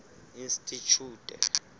institjhute